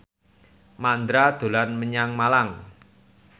Mandra dolan menyang Malang